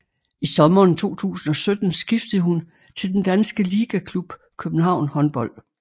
I sommeren 2017 skiftede hun til den danske ligaklub København Håndbold